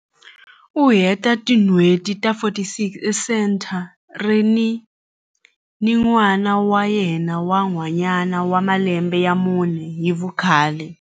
U hete tin'hweti ta 46 esenthareni ni n'wana wa yena wa nhwanyana wa malembe ya mune hi vukhale.